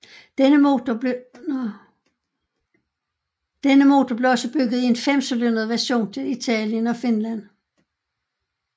Denne motor blev også bygget i en femcylindret version til Italien og Finland